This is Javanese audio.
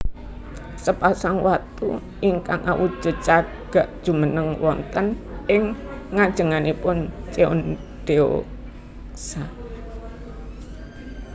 Sepasang watu ingkang awujud cagak jumeneng wonten ing ngajengipun Cheondeoksa